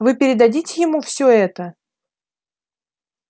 вы передадите ему все это